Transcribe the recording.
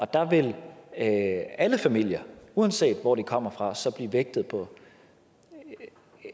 der vil alle familier uanset hvor de kommer fra så blive vægtet